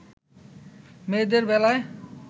মেয়েদের বেলায়